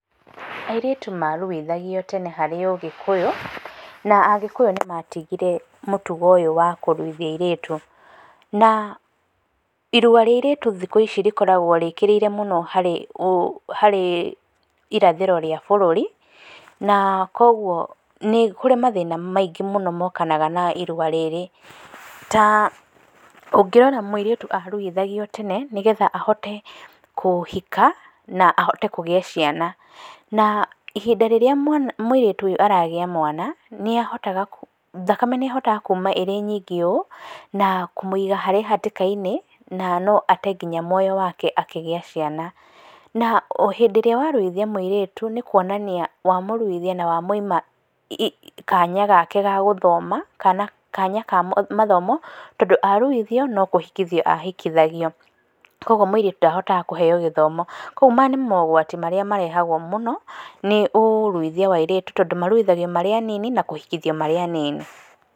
Airĩtu maruithagio tene harĩ ũgĩkũyũ, na agĩkũyũ nĩmatigire mũtugo ũyũ wa kũruithia airĩtu. Na, irua rĩa airĩtu thikũ ici rĩkoragwo rĩkĩrĩirwo mũno harĩ, ũũ, harĩ, irathĩro rĩa bũrũri, na koguo, nĩkũrĩ mathĩna maingĩ mũno mokanaga na irua rĩrĩ. Ta, ũngĩrora mũirĩtu aruithagio tene nĩgetha ahote kũhika, na ahote kũgĩa ciana. Na ihinda rĩrĩa mwana, mũirĩtu ũyũ aragĩa mwana, nĩahotaga, thakame nĩyahotaga kuma ĩrĩ nyingĩ ũũ, na kũmũiga harĩ hatĩka-inĩ, na noate nginya muoyo wake akĩgĩa ciana. Na ohĩndĩ ĩrĩa waruithia mũirĩtu, nĩkuonania wamũruithia na wamũima ii, kanya gake ga gũthoma kana kanya ka mathomo, tondũ aruithio, nokũhikithio ahikithagio. Koguo mũirĩtu ndahotaga kũheyo gĩthomo. Koguo maya nĩ mogwati marĩa marĩa marehagwo mũno, nĩ ũruithia wa airĩtu, tondũ maruithagio marĩ anini, na kũhikithio marĩ anini.